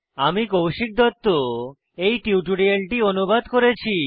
আমি কৌশিক দত্ত এই টিউটোরিয়ালটি অনুবাদ করেছি